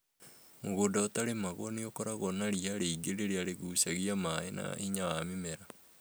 Mũgũnda utarĩmagwo n ũkorwo na ria rĩingĩ rĩrĩa rĩgucagia maĩ na hinya wa mĩmera